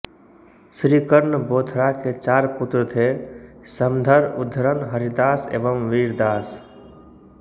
श्री कर्ण बोथरा के चार पुत्र थे समधर उद्धरण हरिदास एवं वीरदास